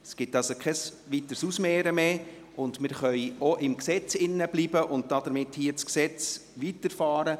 Es gibt also kein weiteres Ausmehren mehr, und wir können bei diesem Gesetz bleiben und damit weiterfahren.